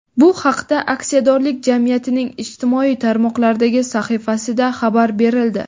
Bu haqda aksiyadorlik jamiyatining ijtimoiy tarmoqlardagi sahifasida xabar berildi.